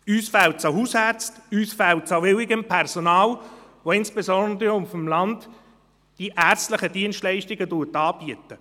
Uns fehlt es an Hausärzten und an willigem Personal, das insbesondere auf dem Land die ärztlichen Dienstleistungen anbietet.